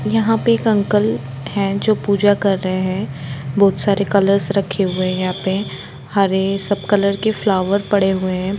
यहां पर एक अंकल है जो पूजा कर रहे हैं बहुत सारे कलर्स रखे हुए हैं यहां पर हरे सब कलर की फ्लावर पड़े हुए हैं यहां।